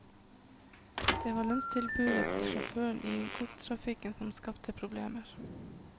Det var lønnstilbudet til sjåførene i godstrafikken som skapte problemer.